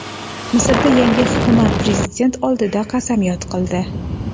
Misrda yangi hukumat prezident oldida qasamyod qildi.